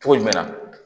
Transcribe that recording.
Cogo jumɛn na